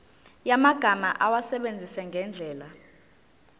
yamagama awasebenzise ngendlela